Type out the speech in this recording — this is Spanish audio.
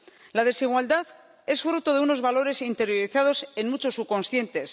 La desigualdad es fruto de unos valores interiorizados en muchos subconscientes.